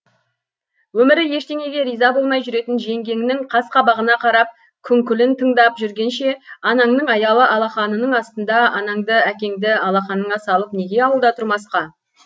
өмірі ештеңеге риза болмай жүретін жеңгеңнің қас қабағына қарап күңкілін тыңдап жүргенше анаңның аялы алақанының астында анаңды әкеңді алақаныңа салып неге ауылда тұрмасқа